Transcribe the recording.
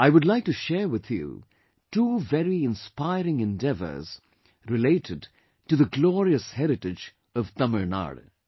I would like to share with you two very inspiring endeavours related to the glorious heritage of Tamil Nadu